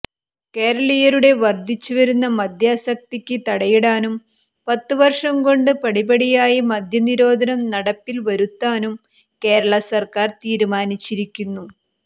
കേരളീയരുടെ വർദ്ധിച്ചു വരുന്ന മദ്യാസക്തിക്ക് തടയിടാനും പത്ത് വർഷം കൊണ്ട് പടിപടിയായി മദ്യനിരോധനം നടപ്പിൽ വരുത്താനും കേരളാ സർക്കാർ തീരുമാനിച്ചിരിക്കുന്നു